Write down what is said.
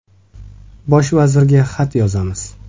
Bosh vazirga xat yozamiz.